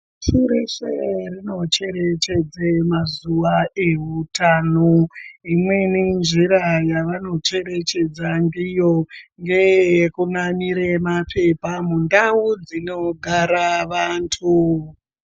Pashi reshe rinocherechedza mazuwa ewutano. Imweni njira yevanocherechedza ndiyo ngeyekunamire mapepa mundau dzinogara vantu.